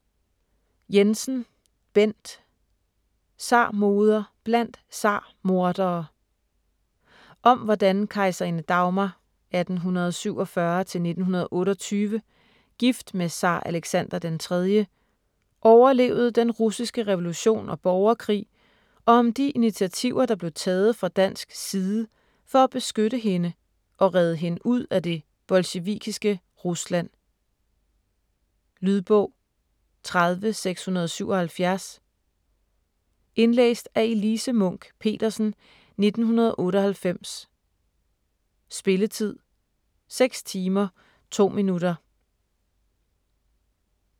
Jensen, Bent: Zarmoder blandt zarmordere Om hvordan kejserinde Dagmar (1847-1928), gift med zar Alexander den III, overlevede den russiske revolution og borgerkrig og om de initativer der blev taget fra dansk side for at beskytte hende og redde hende ud af det bolsjevikiske Rusland. Lydbog 30677 Indlæst af Elise Munch-Petersen, 1998. Spilletid: 6 timer, 2 minutter.